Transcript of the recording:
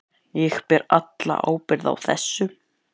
Ég ber alla ábyrgð á þessu.